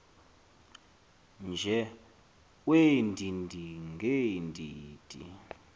nje weendidi ngeendidi